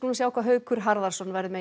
sjá hvað Haukur Harðarson verður með